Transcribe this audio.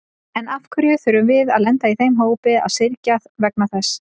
En af hverju þurfum við að lenda í þeim hópi að syrgja vegna þess?